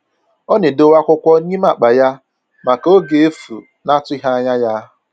Ọ na-edowe akwụkwọ nime akpa ya maka oge efu na-atụghị anya ya